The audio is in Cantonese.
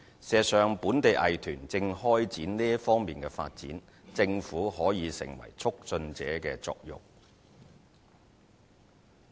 事實上，本地藝團正開展這方面的發展，政府可起促進者的作用。